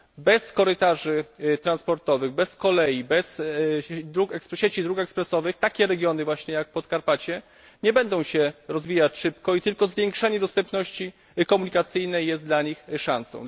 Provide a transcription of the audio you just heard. Bez korytarzy transportowych, bez kolei, bez sieci dróg ekspresowych takie regiony jak właśnie Podkarpacie nie będą się rozwijać szybko i tylko zwiększenie dostępności komunikacyjnej jest dla nich szansą.